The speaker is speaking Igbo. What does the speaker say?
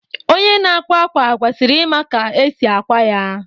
Onye na-akwa ákwà kwesịrị ịma ka esi akwa ya